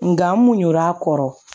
Nka n mun ɲin'a kɔrɔ